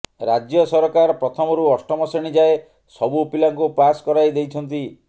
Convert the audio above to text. ରାଜ୍ୟ ସରକାର ପ୍ରଥମରୁ ଅଷ୍ଟମ ଶ୍ରେଣୀ ଯାଏଁ ସବୁ ପିଲାଙ୍କୁ ପାସ୍ କରାଇ ଦେଇଛନ୍ତି